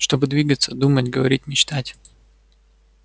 чтобы двигаться думать говорить мечтать